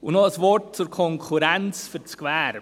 Und noch ein Wort zur Konkurrenz für das Gewerbe.